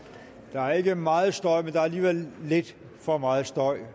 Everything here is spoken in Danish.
er ikke meget støj men der er alligevel lidt for meget støj